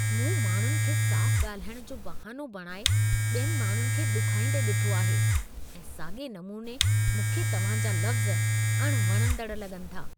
मूं माण्हुनि खे साफ़ु ॻाल्हाइण जो बहानो बणाए ॿियनि माण्हुनि खे ॾुखोईंदे ॾिठो आहे ऐं साॻिए नमूने मूंखे तव्हांजा लफ़्ज़ अणवणंदड़ लॻनि था।